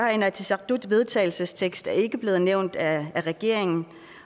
er inatsisartuts vedtagelsestekst ikke blevet nævnt af regeringen